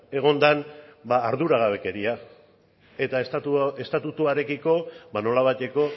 egon den arduragabekeria eta estatutuarekiko nolabaiteko